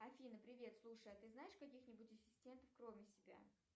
афина привет слушай а ты знаешь каких нибудь ассистентов кроме себя